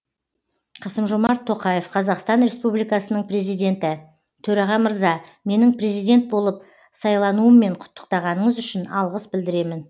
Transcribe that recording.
қасым жомарт тоқаев қазақстан республикасының президенті төраға мырза менің президент болып сайлануыммен құттықтағаныңыз үшін алғыс білдіремін